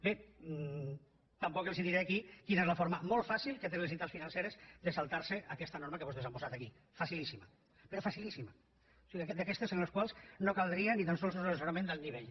bé tampoc els diré aquí quina és la forma molt fàcil que tenen les entitats financeres de saltar se aquesta norma que vostès han posat aquí facilíssima però facilíssima o sigui d’aquestes en les quals no caldria ni tan sols assessorament d’alt nivell